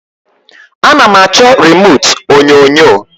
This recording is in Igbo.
A na m achọ remute onyonyo